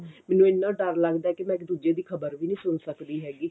ਮੈਨੂੰ ਇੰਨਾ ਡਰ ਲੱਗਦਾ ਵੀ ਮੈਂ ਇੱਕ ਦੂਜੇ ਦੀ ਖ਼ਬਰ ਵੀ ਨਹੀਂ ਸੁਣ ਸਕਦੀ ਹੈਗੀ